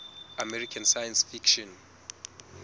american science fiction